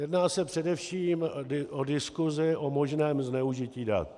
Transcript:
Jedná se především o diskusi o možném zneužití dat.